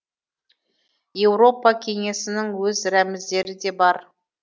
еуропа кеңесінің өз рәміздері де бар